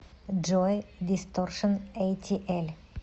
джой дисторшн эйтиэль